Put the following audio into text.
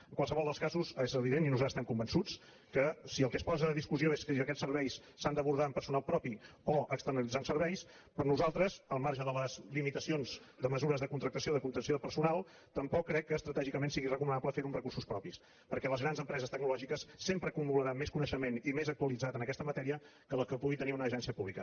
en qualsevol dels casos és evident i nosaltres n’estem convençuts que si el que es posa a discussió és que aquests serveis s’han d’abordar amb personal propi o externalitzant serveis per nosaltres al marge de les limitacions de mesures de contractació i de contenció de personal tampoc crec que estratègicament sigui recomanable fer ho amb recursos propis perquè les grans empreses tecnològiques sempre acumularan més coneixement i més actualitzat en aquesta matèria que els que pugui tenir una agència pública